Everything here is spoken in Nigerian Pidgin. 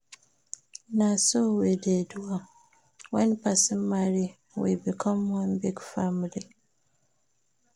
Na so we dey do am, wen person marry, we become one big family.